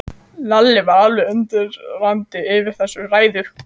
Lalli var alveg undrandi yfir þessari ræðu.